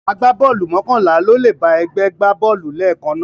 Agbábọ́ọ̀lù mọ́kànlá ni ó lè bá ẹgbẹ́ gbá bọ́ọ̀lù lẹ́ẹ̀kan náà